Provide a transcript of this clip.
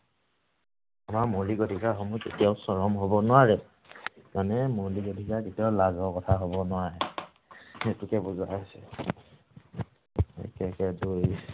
আমাৰ মৌলিক অধিকাৰসমূহ কেতিয়াও চৰম হব নোৱাৰে। মানে মৌলিক অধিকাৰ কেতিয়াও লাজৰ কথা হব নোৱাৰে। সেইটোকে বুজোৱা হৈছে। একে একে দুই।